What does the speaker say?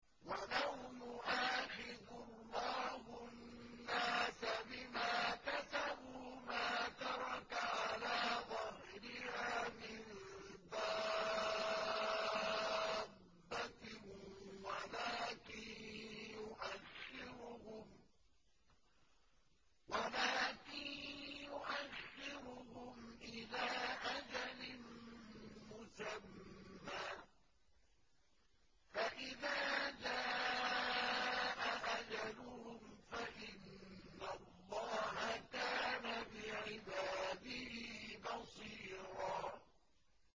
وَلَوْ يُؤَاخِذُ اللَّهُ النَّاسَ بِمَا كَسَبُوا مَا تَرَكَ عَلَىٰ ظَهْرِهَا مِن دَابَّةٍ وَلَٰكِن يُؤَخِّرُهُمْ إِلَىٰ أَجَلٍ مُّسَمًّى ۖ فَإِذَا جَاءَ أَجَلُهُمْ فَإِنَّ اللَّهَ كَانَ بِعِبَادِهِ بَصِيرًا